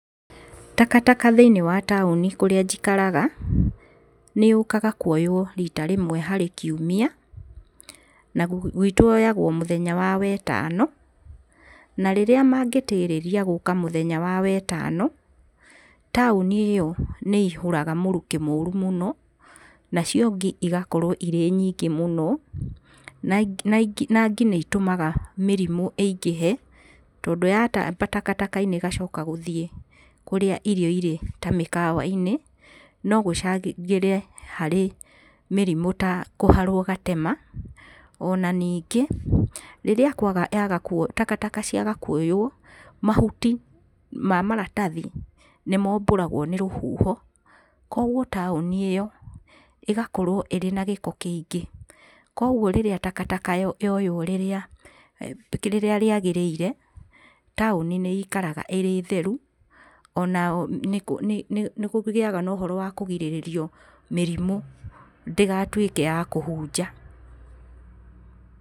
Takataka thĩiniĩ wa taũni kũrĩa njikaraga, nĩyũkaga kuoywo rita rĩmwe harĩ kiumia, na gwitũ yoyagwo o mũthenya wa Wetano a rĩrĩa mangĩtĩrĩria gũka mũthenya wa Wetano, taũni ĩyo nĩĩihũraga mũrukĩ mũru mũno, nacio ngi igakorwo irĩ nyingĩ mũno. Na ngi nĩitũmaga mĩrimũ ĩingĩhe tondũ yatamba takataka-inĩ ĩgacoka gũthiĩ kũrĩa irio irĩ ta mĩkawa-inĩ, no gũcangĩre harĩ mĩrimũ ta kũharwo gatema. Ona ningĩ, rĩrĩa kwaga takataka ciaga kuoywo, mahuti ma maratathi nĩmombũragwo nĩ rũhuho, kuoguo taũnĩ ĩyo ĩgakorwo ĩrĩ na gĩko kĩingĩ. Kuoguo rĩrĩa takataka yoywo rĩrĩa rĩrĩa rĩagĩrĩire, taũni nĩ ĩikaraga ĩrĩ theru, onao nĩkũgĩaga na ũhoro wa kũgirĩrĩrio mĩrimũ ndĩgatuĩke ya kũhunja.